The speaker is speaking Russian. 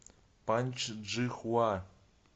паньчжихуа